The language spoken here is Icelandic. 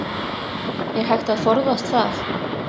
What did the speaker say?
Er hægt að forðast það?